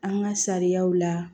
An ka sariyaw la